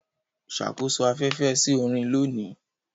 Ṣàkóso afẹ́fẹ́ sí orin lónìí.